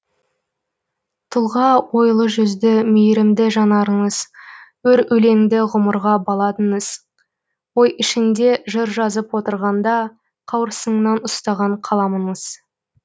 тұлға ойлы жүзді мейрімді жанарыңыз өр өлеңді ғұмырға баладыңыз ой ішінде жыр жазып отырғанда қауырсыннан ұстаған қаламыңыз